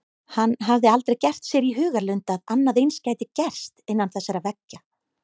Hann hafði aldrei gert sér í hugarlund að annað eins gæti gerst innan þessara veggja.